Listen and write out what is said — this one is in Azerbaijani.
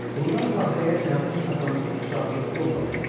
Burdan Qahirəyə Cəmi-Cümlətanlı üç saatlıq yol qalırdı.